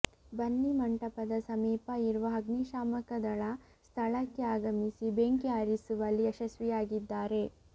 ಬನ್ನಿಮಂಟಪದ ಸಮೀಪ ಇರುವ ಅಗ್ನಿಶಾಮಕದಳ ಸ್ಥಳಕ್ಕೆ ಆಗಮಿಸಿ ಬೆಂಕಿ ಆರಿಸುವಲ್ಲಿ ಯಶಸ್ವಿಯಾಗಿದ್ದಾರೆ